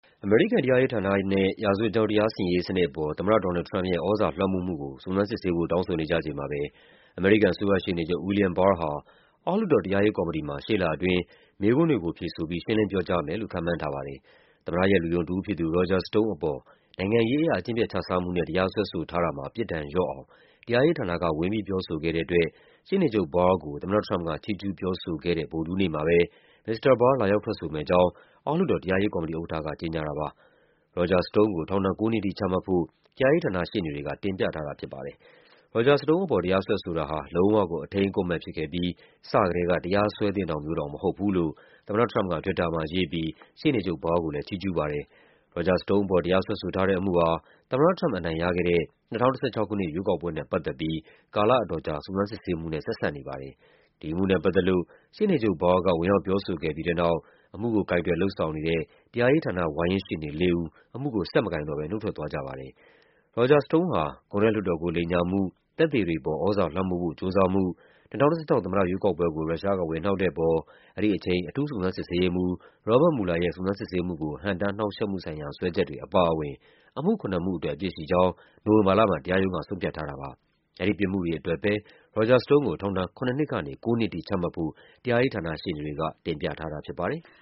အမေရိကန်တရားရေးဌာနနဲ့ ရာဇဝတ်ကြောင်း တရားစီရင်ရေးစနစ်အပေါ် သမ္မတ ဒေါ်နယ်လ်ဒ် ထရမ့်ပ်ရဲ့ သြဇာလွှမ်းမိုးမှုကို စုံစမ်းစစ်ဆေးဖို့ တောင်းဆိုနေကြချိန်မှာပဲ အမေရိကန် အစိုးရရှေ့နေချုပ် William Barr ဟာ အောက်လွှတ်တော် တရားရေးကော်မတီမှာ ရှေ့လအတွင်း မေးခွန်းတွေကိုဖြေဆိုပြီး ရှင်းလင်းပြောကြားမယ်လို့ ခန့်မှန်းထားပါတယ်။ သမ္မတရဲ့ လူယုံတဦးဖြစ်သူ Roger Stone အပေါ် နိုင်ငံရေးအရ အကျင့်ပျက်ခြစားမှုနဲ့ တရားစွဲဆိုထားတာမှာ ပြစ်ဒဏ်လျော့အောင် တရားရေးဌာနက ဝင်ပြီးပြောဆိုခဲ့တဲ့အတွက် ရှေ့နေချုပ် Barr ကို သမ္မတထရမ့်ပ်က ချီးကျူးပြောဆိုခဲ့တဲ့ ဗုဒ္ဓဟူးနေ့မှာပဲ မစ္စတာ Barr လာရောက်ထွက်ဆိုမယ့်အကြောင်း အောက်လွှတ်တော် တရားရေးကော်မတီဥက္ကဋ္ဌက ကြေညာခဲ့ တာပါ။ Roger Stone ကို ထောင်ဒဏ် ၉ နှစ်ထိချမှတ်ဖို့ တရားရေးဌာနရှေ့နေတွေက တင်ပြထားတာဖြစ်ပါတယ်။ Roger Stone အပေါ် တရားစွဲဆိုတာဟာ လုံးဝကို အထိန်းအကွပ်မဲ့ဖြစ်ခဲ့ပြီး စကတည်းက တရားစွဲသင့်တာမျိုးတောင် မဟုတ်ဘူး လို့ သမ္မတထရမ့်ပ်က Twitter မှာရေးပြီး ရှေ့နေချုပ် Barr ကို ချီးကျူးခဲ့ပါတယ်။ Roger Stone အပေါ် တရားစွဲဆိုထားတဲ့အမှုဟာ သမ္မတထရမ့်ပ် အနိုင်ရခဲ့တဲ့ ၂၀၁၆ ခုနှစ် ရွေးကောက်ပွဲနဲ့ပတ်သက်ပြီး ကာလ အတော်ကြာ စုံစမ်းစစ်ဆေးမှုနဲ့ ဆက်စပ်နေပါတယ်။ ဒီအမှုနဲ့ပတ်သက်လို့ ရှေ့နေချုပ် Barr က ဝင်ရောက်ပြောဆိုခဲ့ပြီးတဲ့နောက် အမှုကို ကိုင်တွယ်လုပ်ဆောင်နေတဲ့ တရားရေးဌာန ဝါရင့်ရှေ့နေလေးဦး အမှုကို ဆက်မကိုင်တော့ဘဲ နုတ်ထွက်ခဲ့ကြပါတယ်။ Roger Stone ဟာ ကွန်ဂရက်လွှတ်တော်ကို လိမ်လည်မှု၊ သက်သေတွေအပေါ် သြဇာလွှမ်းမိုးဖို့ကြိုးစားမှု၊ ၂၀၁၆ သမ္မတရွေးကောက်ပွဲကို ရုရှားက ဝင်နှောက်တဲ့အပေါ် အဲဒီအချိန် အထူးစုံစမ်းစစ်ဆေးရေးမှူး Robert Mueller ရဲ့ စုံစမ်း စစ်ဆေးမှုကို ဟန့်တားနှောင့်ယှက်မှုဆိုင်ရာ စွဲချက်တွေအပါအဝင် အမှုခုနစ်မှုအတွက် အပြစ်ရှိကြောင်း နိုဝင်ဘာလမှာ တရားရုံးက ဆုံးဖြတ်ထားတာပါ။ အဲဒီပြစ်မှုတွေအတွက် Roger Stone ကို ထောင်ဒဏ် ၇ နှစ်ကနေ ၉ နှစ်အထိချမှတ်ဖို့ တရားရေးဌာနရှေ့နေတွေက တင်ပြထား တာဖြစ်ပါတယ်။